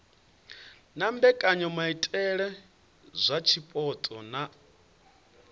na mbekanyamaitele dza zwipotso na